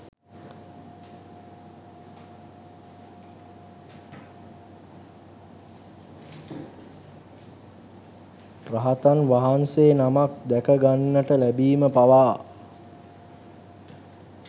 රහතන් වහන්සේ නමක් දැක ගන්නට ලැබීම පවා